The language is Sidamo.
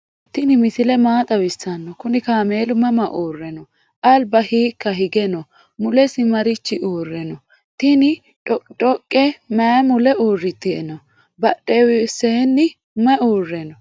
tini misile maa xawisano? kuni kamelu mama ure no? alba hika hige no?mulesi marichi uure no?tini dhoqidhoqe mayi muule uuriteno? badhwseni mayi ure no?